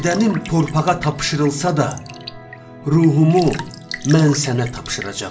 Bədənim torpağa tapşırılsa da, ruhumu mən sənə tapşıracağam.